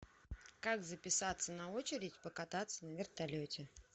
как записаться на очередь покататься на вертолете